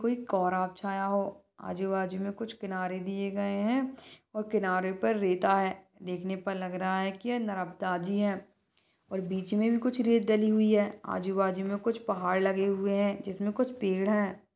कोई कौरा छाया हो आजू बाजू मे कुछ किनारे दिए गए है और किनारे पर रेता है देखने पर लगा रहा है की नरबदा जी है और बीच मे भी कुछ रेत डली हुई है आजू बाजू मे कुछ पहाड़ लगे हुए है जिसमे कुछ पेड़ है।